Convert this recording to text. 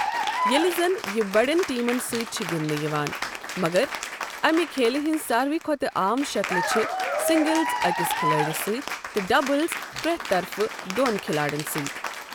ییٚلہ زَن یہِ بڑٮ۪ن ٹیمَن سۭتۍ چھ گنٛدنہٕ یِوان، مگر اَمِہ کھیلہِ ہنٛز ساروٕے کھوتہٕ عام شکلہٕ چھِ سنگلز أکِس کھلٲڑِس سۭتۍ تہٕ ڈبلز پرٮ۪تھ طرفہٕ دۄن کھلاڑَن سۭتۍ